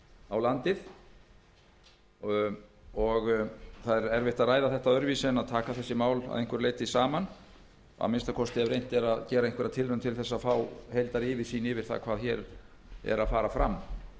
á landið það er erfitt að ræða það öðruvísi en að taka þessi mál að einhverju leyti saman að minnsta kosti ef reynt er að gera einhverja tilraun til þess að fá heildaryfirsýn yfir það hvað hér fer fram